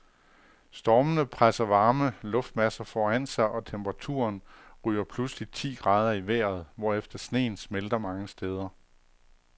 Stormene presser varme luftmasser foran sig, og temperaturen ryger pludselig ti grader i vejret, hvorefter sneen smelter mange steder.